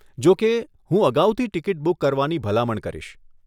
જોકે, હું અગાઉથી ટિકિટ બુક કરવાની ભલામણ કરીશ.